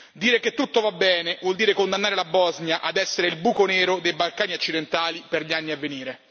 Dire che tutto va bene, vuol dire condannare la Bosnia ad essere il buco nero dei Balcani occidentali per gli anni a venire.